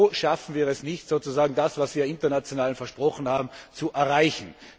Wo schaffen wir es nicht, sozusagen das, was wir international versprochen haben, zu erreichen?